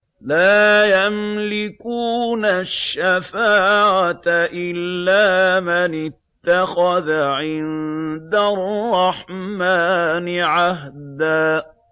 لَّا يَمْلِكُونَ الشَّفَاعَةَ إِلَّا مَنِ اتَّخَذَ عِندَ الرَّحْمَٰنِ عَهْدًا